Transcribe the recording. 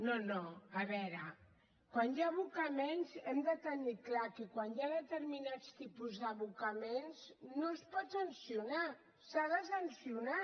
no no a veure quan hi ha abocaments hem de tenir clar que quan hi ha determinats tipus d’abocaments no es pot sancionar s’ha de sancionar